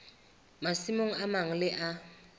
masimong a mang le a